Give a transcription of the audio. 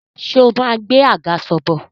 Ṣé o máa gbé àgàsọ̀ bọ̀?